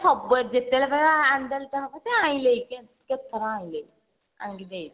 ସବୁବେଳେ ଯେତେବେଳେ କହିବ ଆଣି ଆଣି ଦେଇଛି ଆଉ କେତେଥର ଆଣିଲେଣି ଆଣି ଦେଇଛନ୍ତି